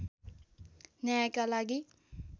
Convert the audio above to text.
न्यायका लागि